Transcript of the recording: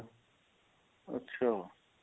ਅੱਛਾ